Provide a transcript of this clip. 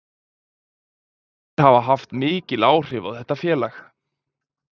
Þeir hafa haft mikil áhrif á þetta félag.